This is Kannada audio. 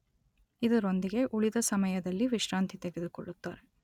ಇದರೊಂದಿಗೆ ಉಳಿದ ಸಮಯದಲ್ಲಿ ವಿಶ್ರಾಂತಿ ತೆಗೆದುಕೊಳ್ಳುತ್ತಾರೆ